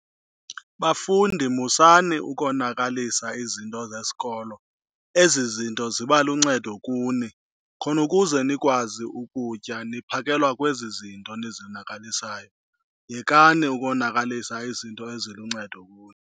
Bafundi musani ukonakalisa izinto zesikolo. Ezi zinto ziba luncedo kuni, khona ukuze nikwazi ukutya niphakelwa kwezi zinto nizonakalisayo. Yekani ukonakalisa izinto eziluncedo kuni.